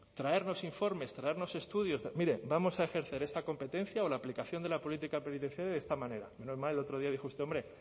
traernos informes traernos estudios mire vamos a ejercer esta competencia o la aplicación de la política penitenciaria de esta manera no en vano el otro día dijo usted hombre